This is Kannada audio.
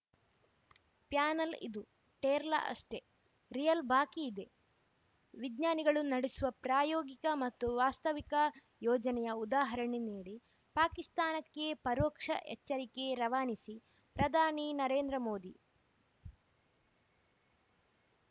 ಪ್ಯಾನೆಲ್‌ ಇದು ಟ್ರೇಲರ್‌ ಅಷ್ಟೆ ರಿಯಲ್‌ ಬಾಕಿ ಇದೆ ವಿಜ್ಞಾನಿಗಳು ನಡೆಸುವ ಪ್ರಾಯೋಗಿಕ ಮತ್ತು ವಾಸ್ತವಿಕ ಯೋಜನೆಯ ಉದಾಹರಣೆ ನೀಡಿ ಪಾಕಿಸ್ತಾನಕ್ಕೆ ಪರೋಕ್ಷ ಎಚ್ಚರಿಕೆ ರವಾನಿಸಿ ಪ್ರಧಾನಿ ನರೇಂದ್ರ ಮೋದಿ